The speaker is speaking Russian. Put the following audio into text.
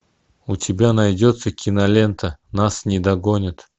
у тебя найдется кинолента нас не догонят